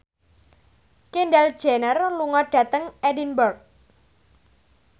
Kendall Jenner lunga dhateng Edinburgh